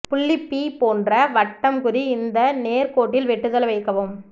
புள்ளி பி போன்ற வட்டம் குறி இந்த நேர் கோட்டில் வெட்டுதல் வைக்கவும்